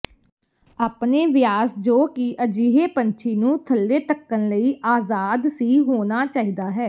ਆਪਣੇ ਵਿਆਸ ਜੋ ਕਿ ਅਜਿਹੇ ਪੰਛੀ ਨੂੰ ਥੱਲੇ ਧੱਕਣ ਲਈ ਆਜ਼ਾਦ ਸੀ ਹੋਣਾ ਚਾਹੀਦਾ ਹੈ